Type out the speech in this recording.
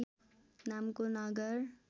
नामको नगर